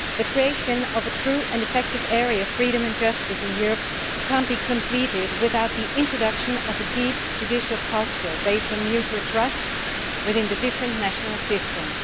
The creation of a true and effective area of freedom and justice in Europe cannot be completed without the introduction of a deep judicial culture based on mutual trust within the different national systems.